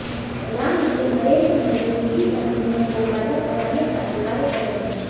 प्रधानमंत्री नरेंद्र मोदी निजी कंपनियों को फायदा पहुंचाने का ही कार्य कर रहे हैं